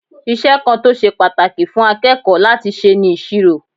Iṣẹ́ kan tó ṣe pàtàkì fún akẹ́kọ̀ọ́ láti ṣe ni ìṣirò.